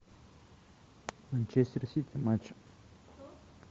манчестер сити матч